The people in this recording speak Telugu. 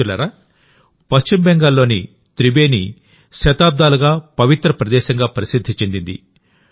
మిత్రులారాపశ్చిమ బెంగాల్లోని త్రిబేని శతాబ్దాలుగా పవిత్ర ప్రదేశంగా ప్రసిద్ధి చెందింది